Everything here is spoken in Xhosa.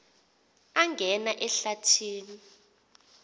angena ehlathi ni